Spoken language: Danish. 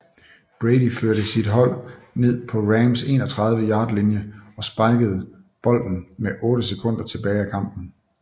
Brady førte sit hold ned på Rams 31 yard linje og spikede bolden med 8 sekunder tilbage af kampen